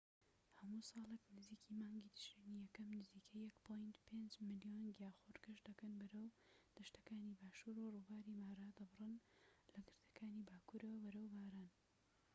هەموو ساڵێك نزیک مانگی تشرینی یەکەم نزیکەی ١.٥ ملیۆن گیاخۆر گەشت دەکەن بەرەو دەشتەکانی باشوور و ڕووباری مارا دەبڕن لە گردەکانی باکورەوە بەرەو باران